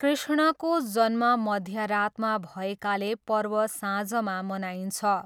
कृष्णको जन्म मध्यरातमा भएकाले पर्व साँझमा मनाइन्छ।